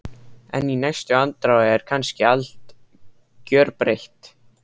En í næstu andrá er kannski allt gjörbreytt.